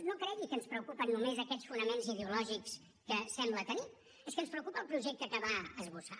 no cregui que ens preocupen només aquests fonaments ideològics que sembla tenir és que ens preocupa el projecte que va esbossar